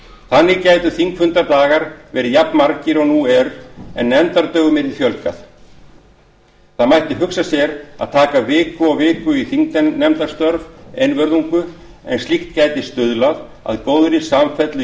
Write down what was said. þannig gætu þingfundadagar verið jafnmargir og nú er en nefndadögum yrði fjölgað það mætti hugsa sér að taka viku og viku í þingnefndastörf einvörðungu en slíkt gæti stuðlað að góðri samfellu í